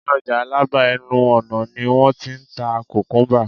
ní ọjà alaba, ẹnu ọnà ni won t'in ta kukumba